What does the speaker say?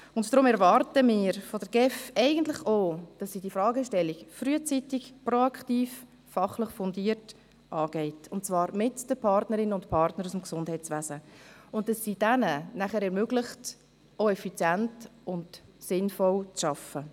Deshalb erwarten wir eigentlich von der GEF, dass sie die Fragestellung frühzeitig, proaktiv und fachlich fundiert angeht, und zwar mit den Partnerinnen und Partnern aus dem Gesundheitswesen, damit sie diesen ermöglicht, ebenfalls effizient und sinnvoll zu arbeiten.